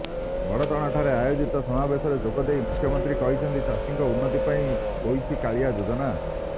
ବଡଚଣାଠାରେ ଆୟୋଜିତ ସମାବେଶରେ ଯୋଗଦେଇ ମୁଖ୍ୟମନ୍ତ୍ରୀ କହିଛନ୍ତି ଚାଷୀଙ୍କ ଉନ୍ନତି ପାଇଁ ହୋଇଛି କାଳିଆ ଯୋଜନା